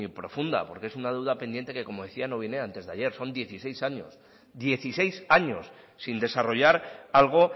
profunda porque es una deuda pendiente que como decía no viene de antes de ayer son dieciséis años sin desarrollar algo